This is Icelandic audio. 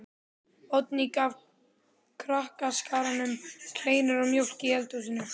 Oddný gaf krakkaskaranum kleinur og mjólk í eldhúsinu.